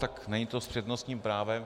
Tak není to s přednostním právem.